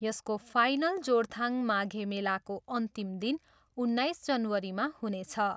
यसको फाइनल जोरथाङ माघे मेलाको अन्तिम दिन उन्नाइस जनवरीमा हुनेछ।